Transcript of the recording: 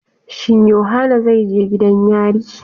Shin yohana zai je gidan yari.?